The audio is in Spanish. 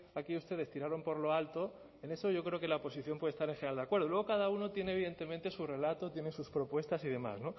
aquí ustedes tiraron por lo alto en eso yo creo que la oposición puede estar en general de acuerdo luego cada uno tiene evidentemente su relato tiene sus propuestas y demás